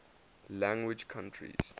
language countries